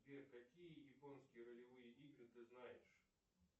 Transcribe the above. сбер какие японские ролевые игры ты знаешь